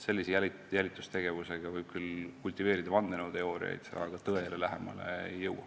Sellise jälitustegevusega võib küll kultiveerida vandenõuteooriaid, aga tõele lähemale ei jõua.